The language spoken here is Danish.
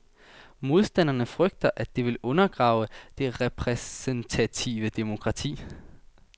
Modstanderne frygter, at det vil undergrave det repræsentative demokrati.